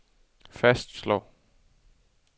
fastslår